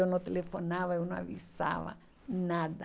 Eu não telefonava, eu não avisava, nada.